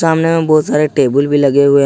सामने में बहुत सारे टेबुल भी लगे हुए है।